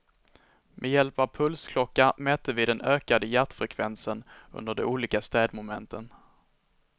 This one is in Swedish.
Med hjälp av pulsklocka mätte vi den ökade hjärtfrekvensen under de olika städmomenten.